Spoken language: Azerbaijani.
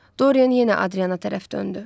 Dorian yenə Adrianna tərəf döndü.